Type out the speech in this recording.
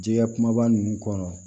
Jɛgɛ kumaba ninnu kɔnɔ